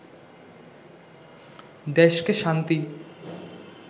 দেশকে শান্তি